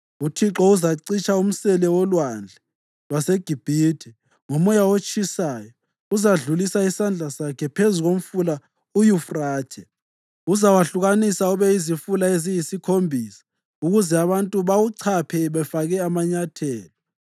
UThixo uzacitsha umsele wolwandle lwaseGibhithe, ngomoya otshisayo uzadlulisa isandla sakhe phezu komfula uYufrathe. Uzawahlukanisa ube yizifula eziyisikhombisa ukuze abantu bawuchaphe befake amanyathelo.